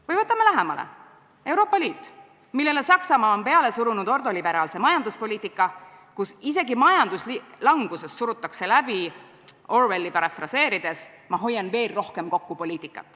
Või vaatame lähemalt: Euroopa Liit, millele Saksamaa on peale surunud ordoliberaalse majanduspoliitika, kus isegi majanduslanguses surutakse läbi – Orwelli parafraseerides – poliitikat "Ma hoian veel rohkem kokku".